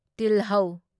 ꯇꯤꯜꯍꯧ